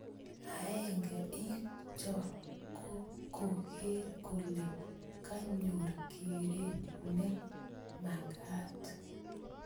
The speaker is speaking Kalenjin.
Aenge ing cho ko koker kole kanyor kereet ne magat.